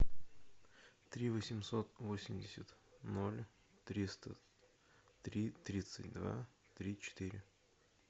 три восемьсот восемьдесят ноль триста три тридцать два три четыре